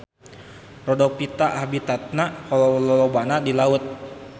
Rhodophyta habitatna lolobana di laut.